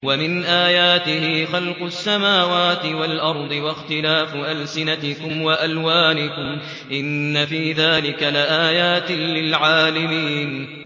وَمِنْ آيَاتِهِ خَلْقُ السَّمَاوَاتِ وَالْأَرْضِ وَاخْتِلَافُ أَلْسِنَتِكُمْ وَأَلْوَانِكُمْ ۚ إِنَّ فِي ذَٰلِكَ لَآيَاتٍ لِّلْعَالِمِينَ